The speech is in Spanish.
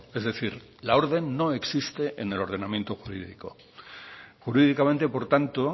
es decir la orden no existe en el ordenamiento jurídico jurídicamente por tanto